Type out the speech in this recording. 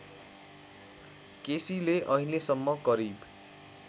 केसीले अहिलेसम्म करिब